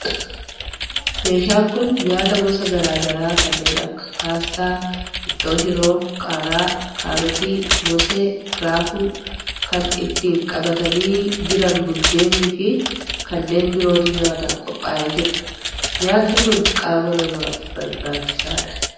Meeshaan kun nyaata gosa garaa garaa kanneen akka paastaa, ittoo shiroo, qaaraa, kaarotii, moosee, raafuu, kan ittiin qabatanii jiran buddeen fi kanneen birootu nyaataf qophaa'ee jira. Nyaatni kun qaama namaaf barbaachisaadha.